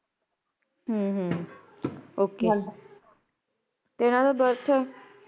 ਹਮ ਹਮ okay ਤੇਹ ਇਹਨਾ ਦਾ birth